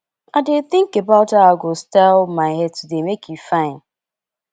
i dey think about how i go style my hair today make e fine